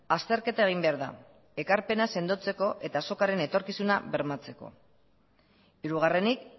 azterketa egin behar da ekarpena sendotzeko eta azokaren etorkizuna bermatzeko hirugarrenik